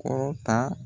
Kɔrɔ ta